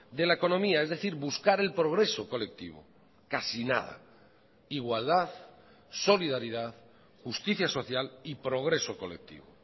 de la economía es decir buscar el progreso colectivo casi nada igualdad solidaridad justicia social y progreso colectivo